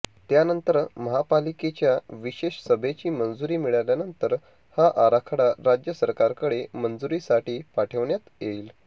त्यानंतर महापालिकेच्या विशेष सभेची मंजुरी मिळाल्यानंतर हा आराखडा राज्य सरकारकडे मंजुरीसाठी पाठवण्यात येईल